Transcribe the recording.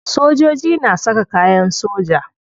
Sojoji na saka kayan soja.